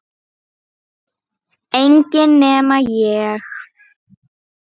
Enginn nema ég